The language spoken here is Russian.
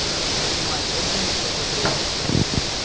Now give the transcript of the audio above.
мать вообще нисколько блять